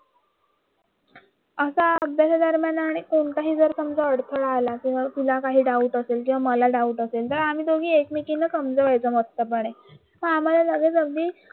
आसा अभ्यास दरम्यान आणि कोणताही जर समजा अडथळा आला काही डाऊट असेल आम्ही दोघे एकमेकींना समजायचं मस्तपणे पण आम्हाला